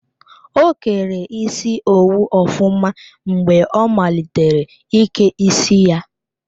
O kere isi owu ofụma mgbe ọ malitere ike isi ya.